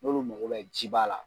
N'olu mago ye jiba la.